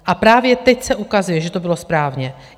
A právě teď se ukazuje, že to bylo správně.